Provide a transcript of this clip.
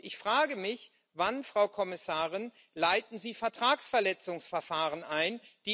Ich frage mich Wann, Frau Kommissarin, leiten Sie Vertragsverletzungsverfahren ein?